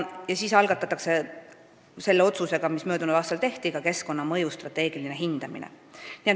Ja selle otsusega, mis möödunud aastal tehti, algatati ka keskkonnamõju strateegiline hindamine.